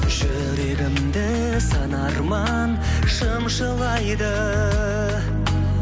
жүрегімді сан арман шымшылайды